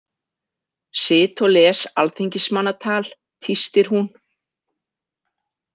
Sit og les alþingismannatal, tístir hún.